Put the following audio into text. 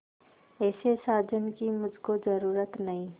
ऐसे साजन की मुझको जरूरत नहीं